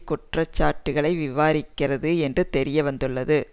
குற்றச்சாட்டுக்களை விவாரிக்கிறது என்று தெரியவந்துள்ளது